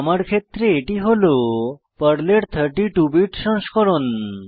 আমার ক্ষেত্রে এটি হল পর্লের 32 বিট সংস্করণ